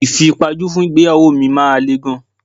Ìfipajú fún ìgbéyàwó mi máa le gan.